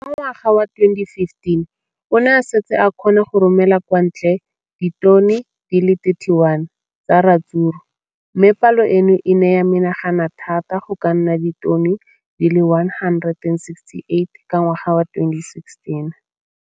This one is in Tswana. Ka ngwaga wa 2015, o ne a setse a kgona go romela kwa ntle ditone di le 31 tsa ratsuru mme palo eno e ne ya menagana thata go ka nna ditone di le 168 ka ngwaga wa 2016.